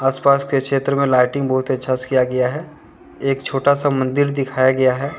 आस पास के क्षेत्र में लाइटिंग बहुत ही अच्छा से किया गया है एक छोटा सा मंदिर दिखाया गया है।